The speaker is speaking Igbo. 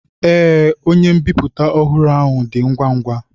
Ee, onye mbipụta ọhụrụ ahụ na-adị ngwa ngwa.